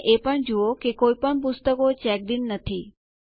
અને એ પણ જુઓ કે કોઈપણ પુસ્તકો ચેક્ડ ઇન નથી